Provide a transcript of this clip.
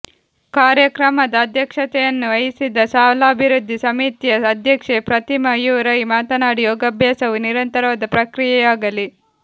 ಕಾರ್ಯಕ್ರಮದ ಅಧ್ಯಕ್ಷತೆಯನ್ನು ವಹಿಸಿದ ಶಾಲಾಭಿವೃದ್ಧಿ ಸಮಿತಿಯ ಅಧ್ಯಕ್ಷೆ ಪ್ರತಿಮಾ ಯು ರೈ ಮಾತನಾಡಿ ಯೋಗಾಭ್ಯಾಸವು ನಿರಂತರವಾದ ಪ್ರಕ್ರಿಯೆಯಾಗಲಿ